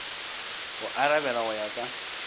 go arabela go ya ka